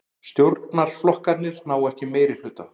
Stjórnarflokkarnir ná ekki meirihluta